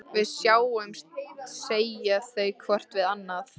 Við sjáumst, segja þau hvort við annað.